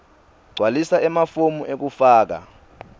gcwalisa emafomu ekufaka